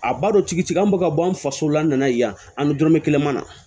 A balo tigi an bɛ ka bɔ an faso la n nana yan an bɛ dɔrɔmɛ kelen ma na